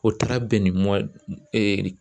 O taara bɛn ni